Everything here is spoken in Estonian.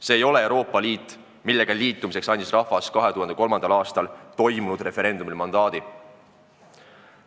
See ei ole Euroopa Liit, millega ühinemiseks andis rahvas 2003. aastal toimunud referendumil mandaadi.